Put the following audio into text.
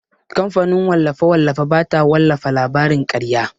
Kamfanin wallafe-wallafe bata wallafa labarin karya.